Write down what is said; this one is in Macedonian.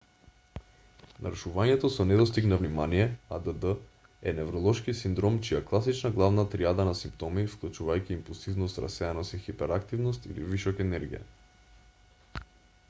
нарушувањето со недостиг на внимание add е невролошки синдром чија класична главна тријада на симптоми вклучувајќи импулсивност расеаност и хиперактивност или вишок енергија